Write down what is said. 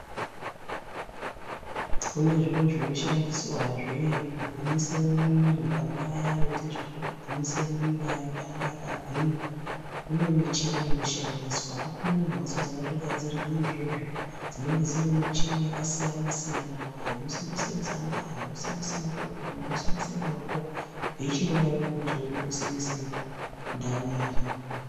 Kune zviro zvino shandiswa zvee ku gwinyise mwiri pane aya ano ite zveku gwinyise mwiri kuti ange aka gwinya kune michini ino shandiswa kuto rine mhatso dzakato gadzirirwe izvozvo dzinenge dzine michini yaka siyana siyana ino simbise musana zvino simbise makumbo ino simbise maoko veichindo daro ngekuti simbise ndau iri.